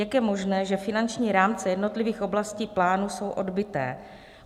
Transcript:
Jak je možné, že finanční rámce jednotlivých oblastí plánu jsou odbyté?